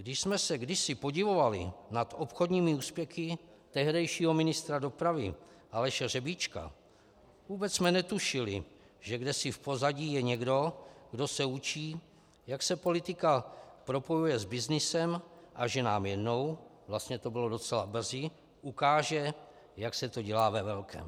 Když jsme se kdysi podivovali nad obchodními úspěchy tehdejšího ministra dopravy Aleše Řebíčka, vůbec jsme netušili, že kdesi v pozadí je někdo, kdo se učí, jak se politika propojuje s byznysem, a že nám jednou, vlastně to bylo docela brzy, ukáže, jak se to dělá ve velkém.